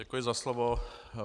Děkuji za slovo.